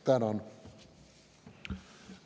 Tänan!